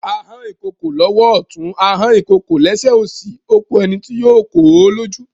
A hán ìkokò lọ́wọ́ ọ̀tún, a hán ìkokò lẹ́sẹ̀ òsì, ó ku ẹni tí yóò kò ó lójú.